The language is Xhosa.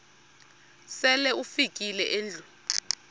sele ufikile endlwini